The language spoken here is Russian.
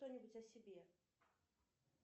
что нибудь о себе